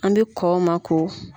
An bɛ kɔn o ma ko